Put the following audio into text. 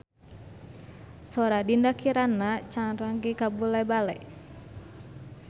Sora Dinda Kirana rancage kabula-bale